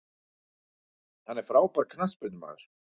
Hann er frábær knattspyrnumaður.